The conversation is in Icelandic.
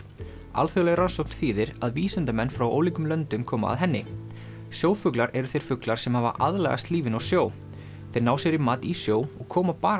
alþjóðleg rannsókn þýðir að vísindamenn frá ólíkum löndum koma að henni sjófuglar eru þeir fuglar sem hafa aðlagast lífinu á sjó þeir ná sér í mat í sjó og koma bara